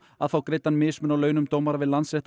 að fá greiddan mismun á launum dómara við Landsrétt